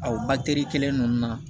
Aw batiri kelen ninnu na